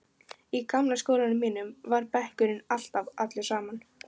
Í gamla skólanum mínum var bekkurinn alltaf allur saman.